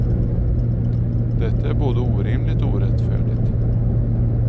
Detta är både orimligt och orättfärdigt.